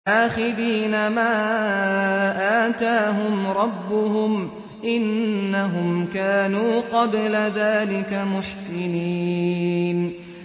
آخِذِينَ مَا آتَاهُمْ رَبُّهُمْ ۚ إِنَّهُمْ كَانُوا قَبْلَ ذَٰلِكَ مُحْسِنِينَ